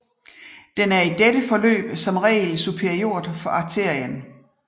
Den er i dette forløb som regel superiort for arterien